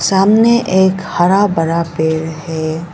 सामने एक हरा भरा पेड़ है।